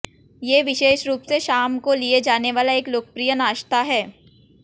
ये विशेष रूप से शाम को लिए जाने वाला एक लोकप्रिय नाश्ता है